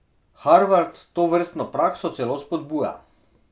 Harvard tovrstno prakso celo spodbuja.